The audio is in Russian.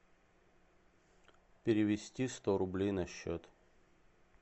перевести сто рублей на счет